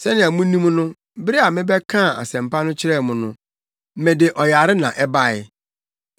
Sɛnea munim no, bere a mebɛkaa Asɛmpa no kyerɛɛ mo no, mede ɔyare na ɛbae.